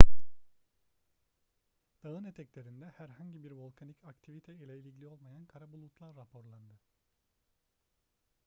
dağın eteklerinde herhangi bir volkanik aktivite ile ilgili olmayan kara bulutlar raporlandı